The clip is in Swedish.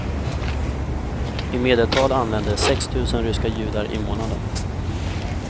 I medeltal anländer sex tusen ryska judar i månaden.